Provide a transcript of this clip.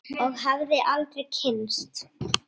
Og hefði aldrei kynnst